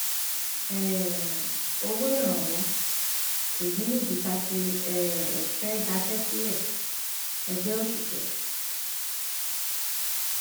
um owó ìrànwọ èyí nìdí tá a ṣe um fẹẹ daṣẹ sílẹẹgbẹ òṣìṣẹ